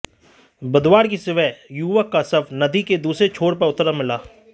बुधवार की सुबह युवक का शव नदी के दूसरे छोर पर उतरा मिला